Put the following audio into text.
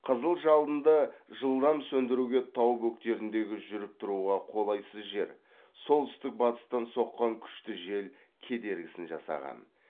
қызыл жалынды жылдам сөндіруге тау бөктеріндегі жүріп тұруға қолайсыз жер солтүстік батыстан соққан күшті жел кедергісін жасаған